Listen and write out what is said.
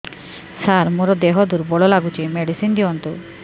ସାର ମୋର ଦେହ ଦୁର୍ବଳ ଲାଗୁଚି ମେଡିସିନ ଦିଅନ୍ତୁ